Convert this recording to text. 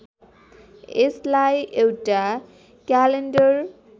यसलाई एउटा क्यालेन्डर